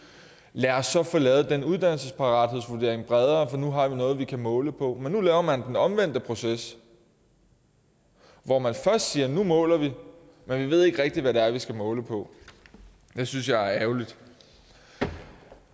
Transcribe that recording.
lad os så få lavet den uddannelsesparathedsvurdering bredere for nu har vi noget vi kan måle på nu laver man den omvendte proces hvor man først siger at nu måler vi men vi ved ikke rigtig hvad det er vi skal måle på det synes jeg er ærgerligt